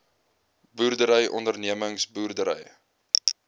boerdery ondernemings boerdery